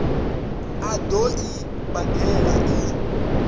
a ḓo i badela i